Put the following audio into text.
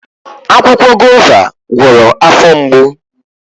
Akwụkwọ Guava gwọrọ afọ mgbo